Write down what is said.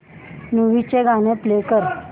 movie चं गाणं play कर